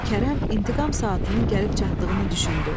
Kərəm intiqam saatının gəlib çatdığını düşündü.